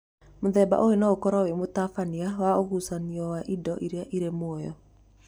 Mũthemba ũyũ no ũkoro wĩ mũtabania wa ũgucanio wa indo iria irĩ muoyo.